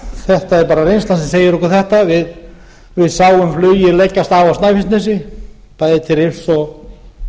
bara reynslan sem segir okkur þetta við sáum flugið leggjast af á snæfellsnesi bæði til rifs og